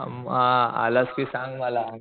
अ म आलास कि सांग मला.